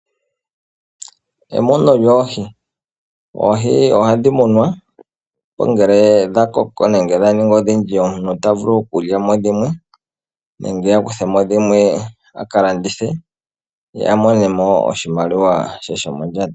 Emuno lyoohi. Oohi ohadhi munwa nongele dha koko nenge dha ningi odhindji omuntu ta vulu okulya mo dhimwe nenge a kuthe mo dhimwe aka landithe ye a mone mo oshimaliwa she shomondjato.